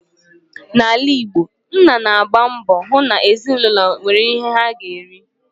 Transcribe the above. N'ala Igbo, nna na-agba mbọ hụ na ezinụlọ nwere ihe ha ga-eri